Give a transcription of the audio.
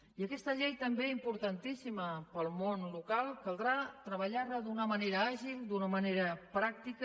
i aquesta llei també importantíssima per al món local caldrà treballar la d’una manera àgil i d’una manera pràctica